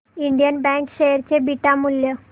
Indian bank share चे beta मूल्य